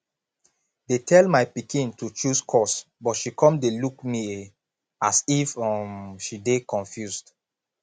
dey tell my pikin to choose course but she come dey look me a as if um she dey confused